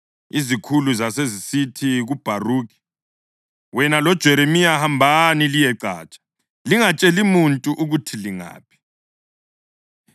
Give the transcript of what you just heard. Izikhulu zasezisithi kuBharukhi, “Wena loJeremiya hambani liyecatsha. Lingatsheli muntu ukuthi lingaphi.”